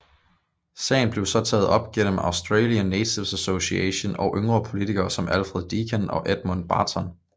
Sagen blev så taget op gennem Australian Natives Association og yngre politikere som Alfred Deakin og Edmund Barton